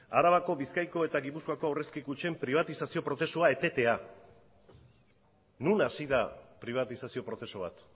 arabako bizkaiko eta gipuzkoako aurrezki kutxen pribatitazio prozesua etetea non hasi da pribatizazio prozesu bat